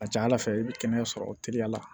A ka ca ala fɛ i bɛ kɛnɛya sɔrɔ teliya la